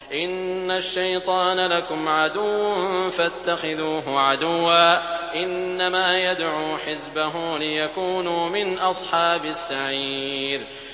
إِنَّ الشَّيْطَانَ لَكُمْ عَدُوٌّ فَاتَّخِذُوهُ عَدُوًّا ۚ إِنَّمَا يَدْعُو حِزْبَهُ لِيَكُونُوا مِنْ أَصْحَابِ السَّعِيرِ